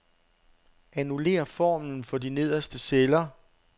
Annullér formlen for de nederste celler.